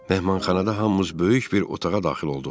Mehmanxanada hamımız böyük bir otağa daxil olduq.